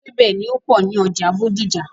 Ewébẹ̀ ni ó pọ̀ ní ọjà Bódìjà.